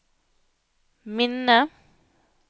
minne